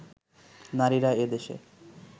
নারীরা এ দেশে